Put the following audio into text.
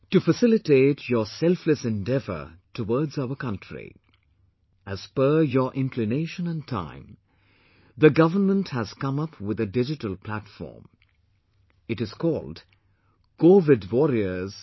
To facilitate your selfless endeavor towards our country, as per your inclination and time, the government has come up with a Digital Platform ...it is called covidwarriors